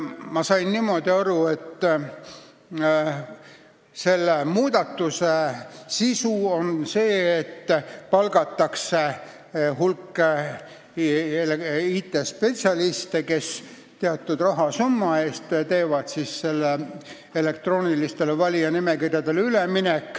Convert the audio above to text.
Ma sain aru, et selle muudatuse praktiline sisu on see, et palgatakse hulk IT-spetsialiste, kes teatud rahasumma eest tagavad ülemineku elektroonilistele valijanimekirjadele.